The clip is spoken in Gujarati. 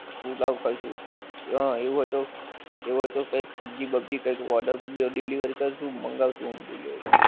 food of spices હા એવું હોએ તો એવું હોએ તો કંઈક સબ્જી વબ્જી કંઈક order delivery કરશું મંગાવશું આમ delivery